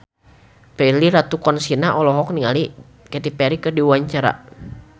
Prilly Latuconsina olohok ningali Katy Perry keur diwawancara